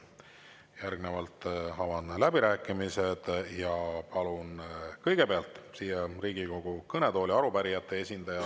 Järgnevalt avan läbirääkimised ja palun kõigepealt siia Riigikogu kõnetooli arupärijate esindaja.